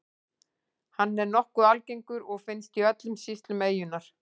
Hann er nokkuð algengur og finnst í öllum sýslum eyjunnar.